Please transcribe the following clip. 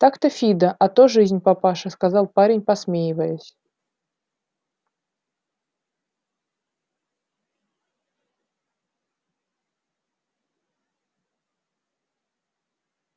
так-то фидо а то жизнь папаша сказал парень посмеиваясь